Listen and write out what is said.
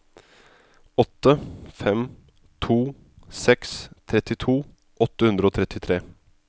åtte fem to seks trettito åtte hundre og trettitre